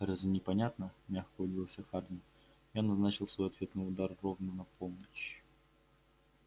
разве непонятно мягко удивился хардин я назначил свой ответный удар ровно на полночь